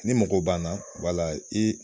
Ni mago b'an na wala i